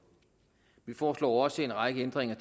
vi foreslår også en række ændringer